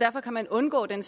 derfor kan man undgå den